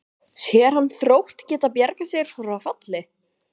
Sér hann Þrótt geta bjargað sér frá falli?